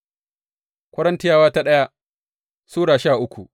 daya Korintiyawa Sura goma sha uku